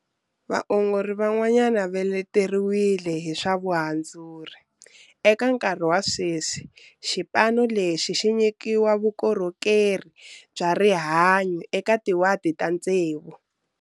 Vaongori van'wana va leteriwile hi swa vuhandzuri. Eka nkarhi wa sweswi xipano lexi xi nyikiwa vukorhokeri bya rihanyu eka tiwadi ta tsevu.